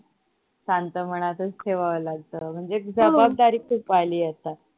शांत मनातच ठेवावा लागत म्हणजे एक जबाबदारी खूप आली आहे आत्ता